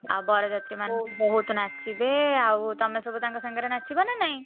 ଆଉ ବରଯାତ୍ରୀମାନେ ବହୁତ୍ ନାଚିବେ ଆଉ ତମେ ସବୁ ତାଙ୍କ ସହ ନାଚିବ ନା ନାଇଁ?